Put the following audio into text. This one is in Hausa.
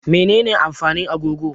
Menene amfanin agogo?